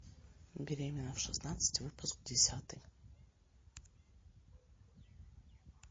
беременна в шестнадцать выпуск десятый